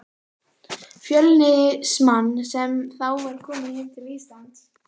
Fjölnismann, sem þá var kominn heim til Íslands.